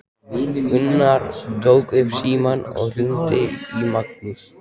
Gunnar tók upp símann og hringdi í Magnús.